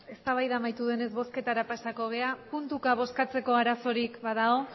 eztabaida amaitu denez bozketara pasako gara puntuka bozkatzeko arazorik badago